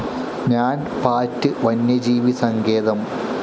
നാൻ പാട്ട്‌ വന്യജീവി സങ്കേതം